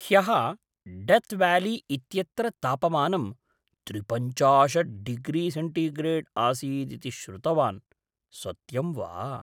ह्यः डेथ्व्याली इत्यत्र तापमानं त्रिपञ्चाशत् डिग्रीसेण्टिग्रेड् आसीत् इति श्रुतवान्, सत्यं वा?